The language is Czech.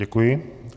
Děkuji.